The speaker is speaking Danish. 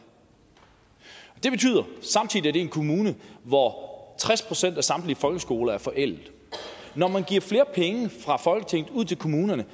samtidig er det en kommune hvor tres procent af samtlige folkeskoler er forældet når man giver flere penge fra folketinget ud til kommunerne